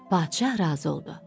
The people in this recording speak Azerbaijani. Padşah razı oldu.